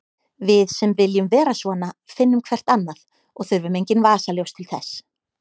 Við sem viljum vera svona finnum hvert annað og þurfum engin vasaljós til þess.